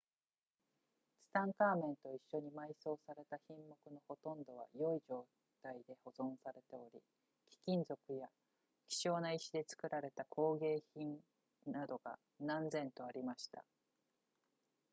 ツタンカーメンと一緒に埋葬された品目のほとんどは良い状態で保存されており貴金属や希少な石で作られた工芸品などが何千とありました